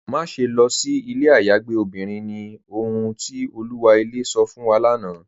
Máṣẹ̀ lọ sí ilẹ̀ ayàgbẹ̀ obìnrin ni, ọ̀hun ti Olúwa ilẹ̀ sọ̀ fún wa lánà.